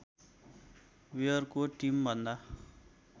वेयरको टिमभन्दा